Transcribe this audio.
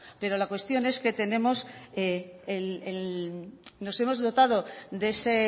pero la cuestión es que tenemos nos hemos dotado de ese